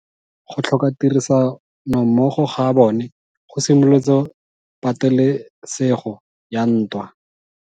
Go tlhoka tirsanommogo ga bone go simolotse patelesego ya ntwa.